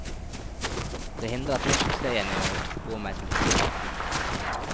Det hindret nok suksessen i å gå meg til hodet. punktum